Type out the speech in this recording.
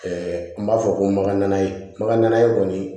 n b'a fɔ ko maga ye baga ye kɔni